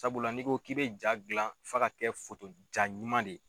Sabula n'i ko k'i bɛ jaa gilan f'a ka kɛ jaa ɲuman de ye.